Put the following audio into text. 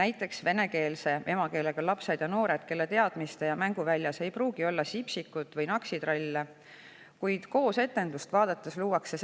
Näiteks vene emakeelega lapsed ja noored, kelle teadmiste‑ ja mänguväljas ei pruugi olla Sipsikut või naksitralle, kuid koos etendust vaadates luuakse